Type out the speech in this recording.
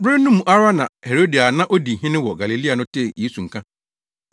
Bere no mu ara na Herode a na odi hene wɔ Galilea no tee Yesu nka,